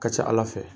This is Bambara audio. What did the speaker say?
Ka ca ala fɛ